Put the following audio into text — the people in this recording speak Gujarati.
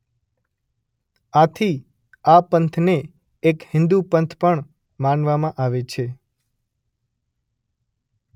આથી આ પંથને એક હિંદુ પંથ પણ માનવામાં આવે છે.